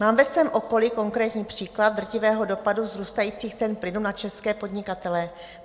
Mám ve svém okolí konkrétní příklad drtivého dopadu vzrůstajících cen plynu na české podnikatele.